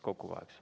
Kokku kaheksa.